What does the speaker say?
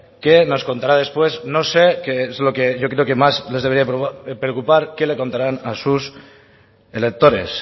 qué nos contará después no sé qué es lo que yo creo que más les debería de preocupar qué le contarán a sus electores